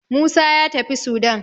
Musa ya tafi Sudan